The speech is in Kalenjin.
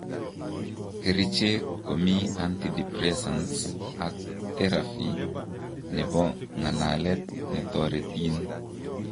Kericheek komii antidepresants ak teraphy nebo ng'alalet netoretin